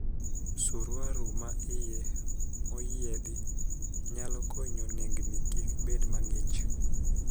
Siruaru ma iye moyiedhi nyalo konyo nengni kik bed mang'ich.